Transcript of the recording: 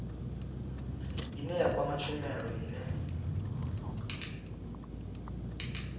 ine ya kwama tshumelo ine